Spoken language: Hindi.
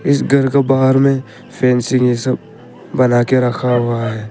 इस घर को बाहर में फैन ये सब बना के रखा हुआ है।